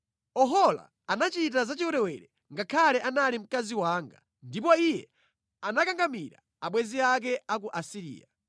“Ohola anachita zachiwerewere ngakhale anali mkazi wanga; ndipo iye anakangamira abwenzi ake a ku Asiriya.